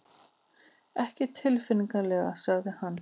Ekki tilfinnanlega sagði hann.